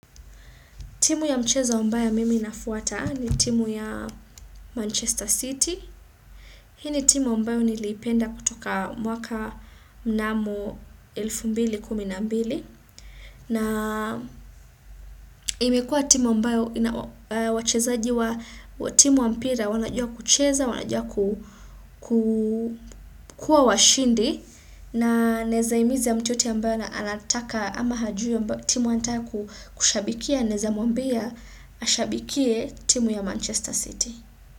Timu ya mchezo ambayo mimi nafuata ni timu ya Manchester City. Hini timu ambayo niliipenda kutoka mwaka mnamo 2012. Na imekua timu ambayo wachezaji wa timu wa mpira wanajua kucheza, wanajua kua washindi. Na nawezahimiza mtuyoyote ambaye anataka ama hajui timu anataka kushabikia naeza mwambia ashabikie timu ya Manchester City.